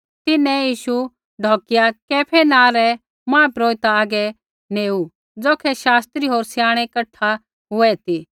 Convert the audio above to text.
तिन्हैं यीशु ढौकिया कैफा नाँ रै महापुरोहिता हागै नेऊ ज़ौखै शास्त्री होर स्याणै कठा हुऐ ती